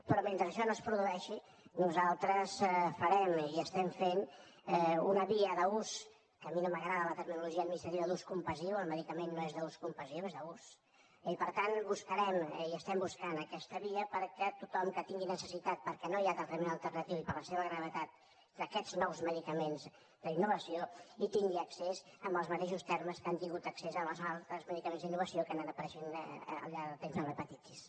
però mentre això no es produeixi nosaltres farem i estem fent una via d’ús que a mi no m’agrada la terminologia administrativa d’ ús compassiu el medicament no és d’ús compassiu és d’ús eh i per tant buscarem i estem buscant aquesta via perquè tothom que tingui necessitat perquè no hi ha tractament alternatiu i per la seva gravetat d’aquests nous medicaments d’innovació hi tingui accés amb els mateixos termes que han tingut accés als altres medicaments d’innovació que han anat apareixent al llarg del temps per a l’hepatitis